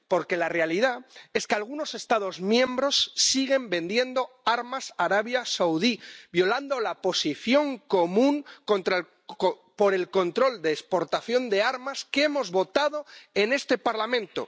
Porque la realidad es que algunos Estados miembros siguen vendiendo armas a Arabia Saudí, violando la Posición Común sobre el control de exportaciones de armas que hemos votado en este Parlamento.